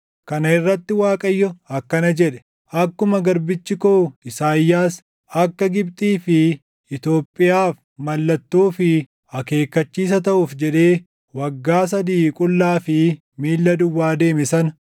Kana irratti Waaqayyo akkana jedhe; “Akkuma garbichi koo Isaayyaas, akka Gibxii fi Itoophiyaaf mallattoo fi akeekkachiisa taʼuuf jedhee waggaa sadii qullaa fi miilla duwwaa deeme sana,